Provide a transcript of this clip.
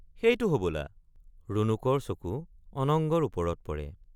সেইটো হবলা ৰুণুকৰ চকু অনঙ্গৰ ওপৰত পৰে ।